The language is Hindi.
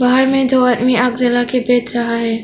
बाहर में दो आदमी आग जला के बैठ रहा है।